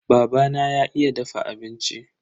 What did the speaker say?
Babana ya iya dafa abinci.